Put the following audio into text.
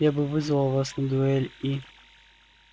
я бы вызвал вас на дуэль и